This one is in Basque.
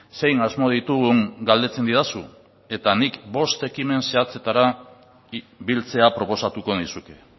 zein asmo ditugun galdetzen didazu eta nik bost ekimen zehatzetara biltzea proposatuko nizuke